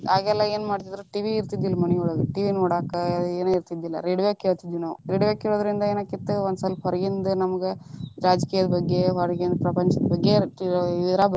ಆಗೆಲ್ಲಾ ಏನ್ ಮಾಡ್ತಿದ್ರ TV ಇರ್ತಿದಿಲ್ಲಾ ಮನಿಯೊಳಗರಿ TV ನೋಡಾಕ ಏನ ಇರ್ತಿದಿಲ್ಲಾ radio ಕೇಳತಿದ್ವಿ ನಾವ radio ಕೇಳುದರಿಂದ ಏನ್ ಆಕಿತ್ತಾ ಒಂದ ಸ್ವಲ್ಪ ಹೊರಗಿಂದ ನಮಗ ರಾಜಕೀಯ ಬಗ್ಗೆ ಹೊರಗಿಂದ ಪ್ರಪಂಚದ ಬಗ್ಗೆ ಇದ್ರಾಗ ಬರ್ತಿತ್ತ.